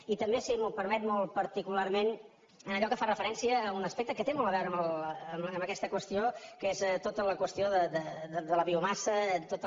i també si m’ho permet molt particularment en allò que fa referència a un aspecte que té molt a veure amb aquesta qüestió que és tota la qüestió de la biomassa tota